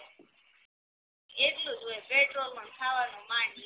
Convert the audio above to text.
એટલુંજ હોય પેટ્રોલમાં ન ખાવાનું માંડ નીકળે